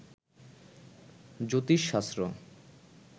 জ্যোতিষশাস্ত্র